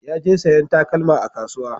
Ya je sayan takalma a kasuwa